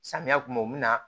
Samiya kun ma u bɛna